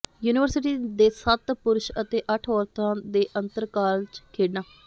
university ਦੇ ਸੱਤ ਪੁਰਸ਼ ਅਤੇ ਅੱਠ ਔਰਤਾਂ ਦੇ ਅੰਤਰ ਕਾਲਜ ਖੇਡਾਂ